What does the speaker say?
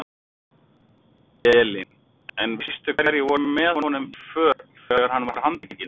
Elín: En veistu hverjir voru með honum í för þegar hann var handtekinn?